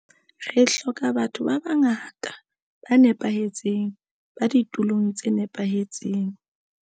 Re hloka ba tho ba bangata ba nepahetseng ba ditulong tse nepahetseng.